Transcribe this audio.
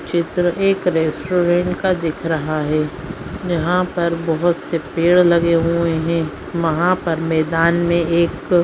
चित्र एक रेस्टोरेंट का दिख रहा है यहां पर बहुत से पेड़ लगे हुए हैं यहां पर मैदान में एक--